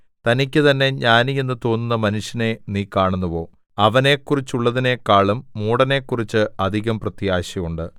തനിക്കുതന്നെ ജ്ഞാനിയെന്ന് തോന്നുന്ന മനുഷ്യനെ നീ കാണുന്നുവോ അവനെക്കുറിച്ചുള്ളതിനെക്കാളും മൂഢനെക്കുറിച്ച് അധികം പ്രത്യാശയുണ്ട്